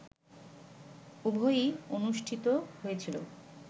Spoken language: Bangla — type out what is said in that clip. উভয়ই অনুষ্ঠিত হয়েছিল